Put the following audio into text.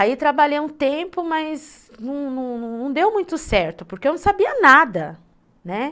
Aí trabalhei um tempo, mas não não deu muito certo, porque eu não sabia nada, né.